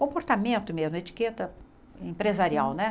Comportamento mesmo, etiqueta empresarial, né?